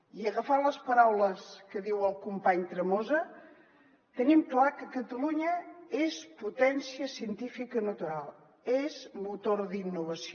i agafant les paraules que diu el company tremosa tenim clar que catalunya és potència científica natural és motor d’innovació